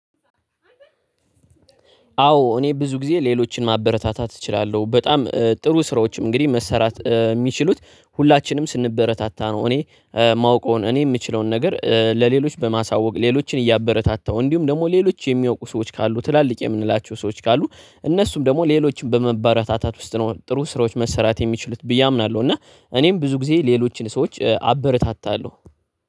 አዎ እኔ ብዙ ጊዜ ሌሎችን ማበረታታት እችላለሁ። በጣም ጥሩ ስራዎችም እንግዲህ መሰራት የሚችሉት ሁላችንም ስንበረታታ ነው እኔ ማዉቀውን እኔ የምችለውን ነገር ለሌሎች በማሳወቅ ሌሎችን እያበረታታው እንዲሁም ደግሞ ሌሎች የሚያውቁ ሰዎች ካሉ ትላልቅ የምንላቸው ሰዎች ካሉ እነሱም ደግሞ ሌሎችን በማበረታታት ውስጥ ነው ጥሩ ስራዎች መሰራት የሚችሉት ብዬ አምናለሁ እና እኔም ብዙ ጊዜ ሌሎችን ሰዎች አበረታታለሁ።